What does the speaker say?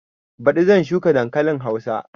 Baɗi zan shuka dankalin hausa